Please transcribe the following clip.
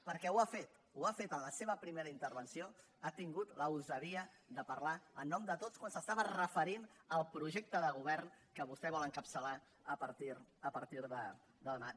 perquè ho ha fet ho ha fet en la seva primera intervenció ha tingut la gosadia de parlar en nom de tots quan s’estava referint al projecte de govern que vostè vol encapçalar a partir de demà